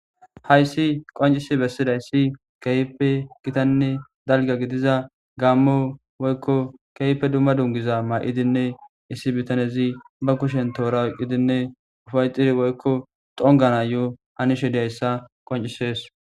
hayssi qoncisi bessida issi keype gitanne dalga gidiza gaammo woykko keype dumma dungiza maa7idinne issi bitanezi ba kushen toora wqqidinne ufayxir woykko xongana yo hanishe diyayssa qoncisees